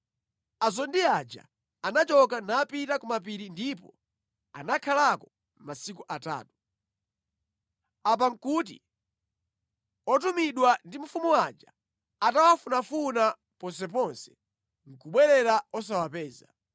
Azondi aja anachoka napita ku mapiri ndipo anakhalako masiku atatu. Apa nʼkuti otumidwa ndi mfumu aja atawafunafuna ponseponse nʼkubwerera osawapeza.